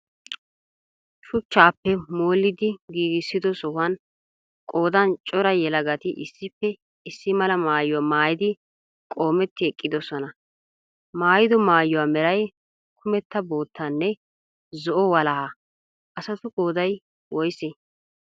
Shuuchappa molidi giigisido sohuwaan qoodan cora yeelagaati issippe issi mala maayuwa maayidi qoometi eqiidosona. Maayido maayuwa meray kuumetta boottanne zo'o waalaha. Asatu qoodayi wooyise?